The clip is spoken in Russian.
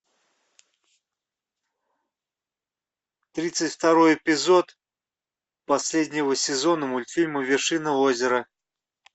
тридцать второй эпизод последнего сезона мультфильма вершина озера